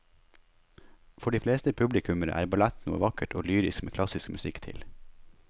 For de fleste publikummere er ballett noe vakkert og lyrisk med klassisk musikk til.